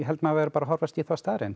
maður verði bara að horfa í þá staðreynd